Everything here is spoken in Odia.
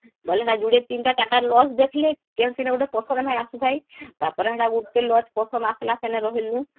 ବୋଇଲେ ସେଟା ଯୁଡ଼ିଏ ୩ଟା ୪ଟାlodge ଦେଖିଲେ କେଉଁ ସିନେ ଗୁଟେ ପସନ୍ଦ ନାଇଁ ଆସୁଥାଇ ତାପରେ ହେଟା ଗୁଟେlodge ପସନ୍ଦ ଆସିଲା ସେ ନୁ ରହିଲୁ